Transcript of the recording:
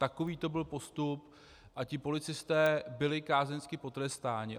Takový to byl postup a ti policisté byli kázeňsky potrestáni.